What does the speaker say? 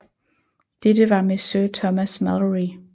Dette var med Sir Thomas Malory